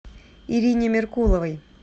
ирине меркуловой